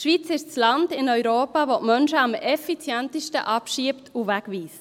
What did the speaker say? Die Schweiz ist dasjenige Land in Europa, das Menschen am effektivsten abschiebt und wegweist.